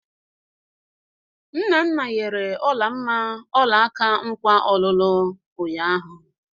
Nnanna nyere Ọlamma ọlaka nkwa ọlụlụ ụnyaahụ.